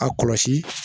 A kɔlɔsi